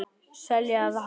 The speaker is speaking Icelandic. Selja eða halda?